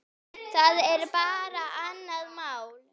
Það er bara annað mál.